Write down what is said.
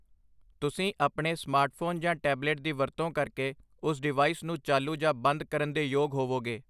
ਤੁਸੀਂ ਆਪਣੇ ਸਮਾਰਟਫੋਨ ਜਾਂ ਟੈਬਲੇਟ ਦੀ ਵਰਤੋਂ ਕਰਕੇ ਉਸ ਡਿਵਾਈਸ ਨੂੰ ਚਾਲੂ ਜਾਂ ਬੰਦ ਕਰਨ ਦੇ ਯੋਗ ਹੋਵੋਗੇ